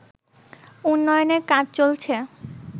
উন্নয়নের কাজ চলছে